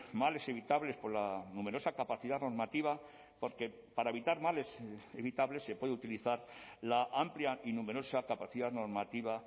males evitables por la numerosa capacidad normativa porque para evitar males evitables se puede utilizar la amplia y numerosa capacidad normativa